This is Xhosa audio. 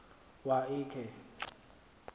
wa l khe